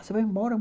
Você vai embora?